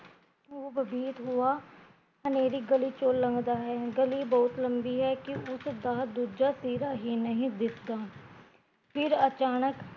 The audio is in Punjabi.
ਉਹ ਬੈਬੀਤ ਹੂਆ ਹਨੇਰੀ ਗਲੀ ਚੋਂ ਲੰਘਦਾ ਹੈ, ਗਲੀ ਬਹੁਤ ਹੈ ਕੀ ਉਸਦਾ ਦੂਜਾ ਸਿਰਾ ਹੀਂ ਨਹੀਂ ਦਿਸਦਾ ਫਿਰ ਅਚਾਨਕ